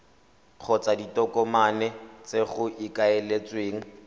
kgotsa ditokomane tse go ikaeletsweng